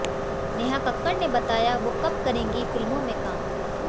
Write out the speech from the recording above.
नेहा कक्कड़ ने बताया वो कब करेंगी फिल्मों में काम